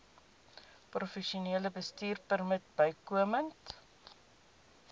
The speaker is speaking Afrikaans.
professionele bestuurpermit bykomend